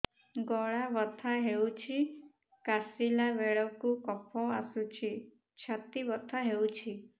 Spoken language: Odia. ଗଳା ବଥା ହେଊଛି କାଶିଲା ବେଳକୁ କଫ ଆସୁଛି ଛାତି ବଥା ହେଉଛି